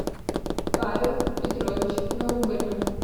павел петрович наугольнов